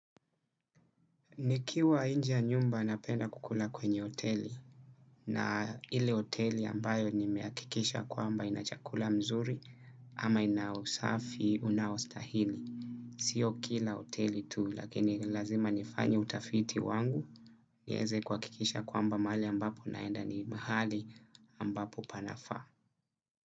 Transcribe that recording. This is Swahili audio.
Niki wa inje ya nyumba napenda kukula kwenye hoteli na ile hoteli ambayo nimeakikisha kwamba ina chakula mzuri ama ina usafi unaostahili. Sio kila hoteli tu lakini lazima nifanye utafiti wangu. Nieze kuwakikisha kwamba mahali ambapo naenda ni mahali ambapo panafaa.